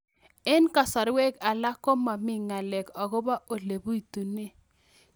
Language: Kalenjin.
Eng' kasarwek alak ko mami ng'alek akopo ole pitunee